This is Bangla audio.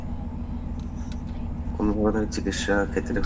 কোনো ধরণের চিকিৎসা